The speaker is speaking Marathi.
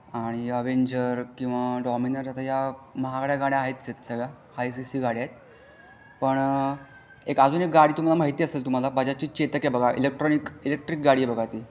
आणि अवेंजर किंवा डॉमिनर आता या महागड्या गाड्या आहेच आहे सगळ्या हाय सीसी गाड्या आहे पण एक अजून एक गाडी महती असेल तुम्हला बजाज ची चेतक आहे बघा इलेक्ट्रॉनिक इलेक्ट्रिक गाडी आहे बघा ती.